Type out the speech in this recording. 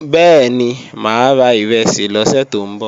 Bẹ́ẹ̀ni, máa ra ìrẹsì lọ́sè tó ń bọ̀